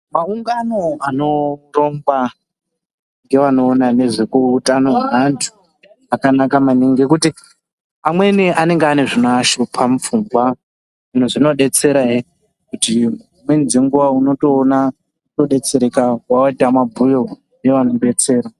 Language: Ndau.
Maungano anorongwa ngevanoona ngezvekutano hweantu. Akanaka maningi ngekuti amweni anengeane zvinoshupa mupfungwa. Zvimwe zvinobetserahe kuti dzimweni dzenguva unotoona kubetsereka kwavaita mabhuyo nevanobetsera.